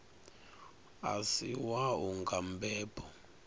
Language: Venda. a si wau nga mbebo